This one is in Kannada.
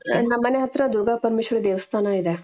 ನಮ್ಮನೆ ಹತ್ತಿರ ದುರ್ಗಾ ಪರಮೇಶ್ವರಿ ದೇವಸ್ಥಾನ ಇದೆ .